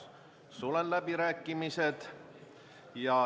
Sulen läbirääkimised.